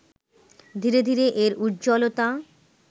ধীরে ধীরে এর উজ্জ্বলতা